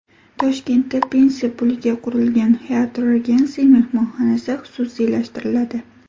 Toshkentda pensiya puliga qurilgan Hyatt Regency mehmonxonasi xususiylashtiriladi.